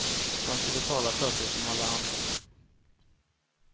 Man ska betala för sig som alla andra.